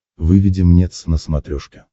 выведи мне твз на смотрешке